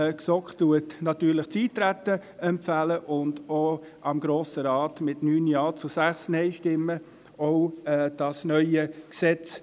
Die GSoK empfiehlt natürlich das Eintreten und empfiehlt dem Grossen Rat auch mit 9 Ja- zu 6 NeinStimmen Annahme des neuen Gesetzes.